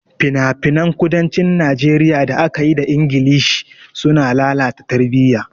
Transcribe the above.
Finafinan kudancin Najeriya da aka yi da Ingilishi sun lalata tarbiyya.